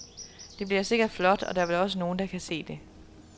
Det bliver sikkert flot, og der vel også nogen, der kan se det.